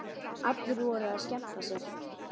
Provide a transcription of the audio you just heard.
Allir voru að skemmta sér.